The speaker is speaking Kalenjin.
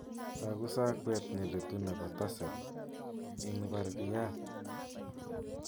Toku sakweet neletu nebo tassel in barakyat